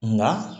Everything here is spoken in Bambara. Nka